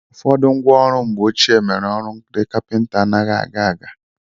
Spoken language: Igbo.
Ụfọdụ ngwa ọrụ mgbe ochie mere ọrụ ndị kapịnta anaghị aga aga.